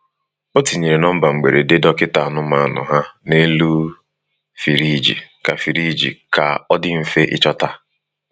O tinyere nọmba mgberede dọkịta anụmanụ ha n’elu firiji ka firiji ka ọ dị mfe ịchọta.